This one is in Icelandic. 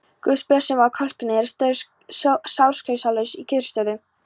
Guðsblessun að kölkunin er sársaukalaus í kyrrstöðu.